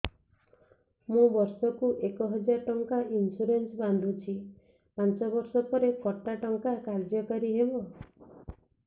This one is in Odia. ମୁ ବର୍ଷ କୁ ଏକ ହଜାରେ ଟଙ୍କା ଇନ୍ସୁରେନ୍ସ ବାନ୍ଧୁଛି ପାଞ୍ଚ ବର୍ଷ ପରେ କଟା ଟଙ୍କା କାର୍ଯ୍ୟ କାରି ହେବ